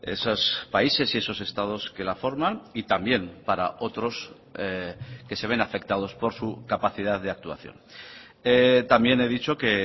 esos países y esos estados que la forman y también para otros que se ven afectados por su capacidad de actuación también he dicho que